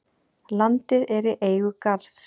Landið er í eigu Garðs.